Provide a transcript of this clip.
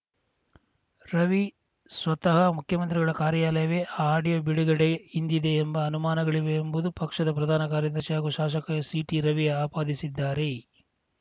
ರವಿ ಸ್ವತಃ ಮುಖ್ಯಮಂತ್ರಿಗಳ ಕಾರ್ಯಾಲಯವೇ ಆ ಆಡಿಯೋ ಬಿಡುಗಡೆ ಹಿಂದಿದೆ ಎಂಬ ಅನುಮಾನಗಳಿವೆ ಎಂಬುದು ಪಕ್ಷದ ಪ್ರಧಾನ ಕಾರ್ಯದರ್ಶಿ ಹಾಗೂ ಶಾಸಕ ಸಿಟಿರವಿ ಆಪಾದಿಸಿದ್ದಾರೆ